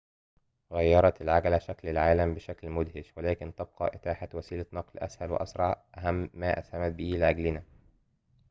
غيرت العجلة شكل العالم بشكل مدهش ولكن تبقى إتاحة وسيلة نقل أسهل وأسرع أهم ما أسهمت به لأجلنا